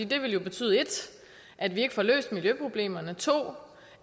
det vil betyde 1 at vi ikke får løst miljøproblemerne og 2